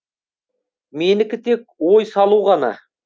менікі тек ой салу ғана